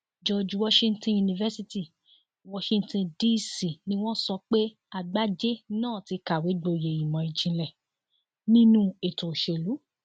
george washington university washington dc ni wọn sọ pé àgbájé náà ti kàwé gboyè ìmọ ìjìnlẹ nínú ètò òṣèlú